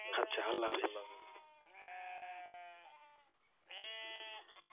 আচ্ছা আল্লাহ হাফিস।